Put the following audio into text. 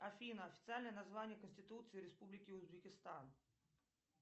афина официальное название конституции республики узбекистан